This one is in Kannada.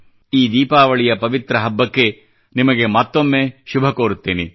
ಈ ದೀಪಾವಳಿಯ ಪವಿತ್ರ ಹಬ್ಬಕ್ಕೆ ನಿಮಗೆ ಮತ್ತೊಮ್ಮೆ ಶುಭ ಕೋರುತ್ತೇನೆ